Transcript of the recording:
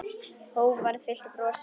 Hógværð fyllti brosið.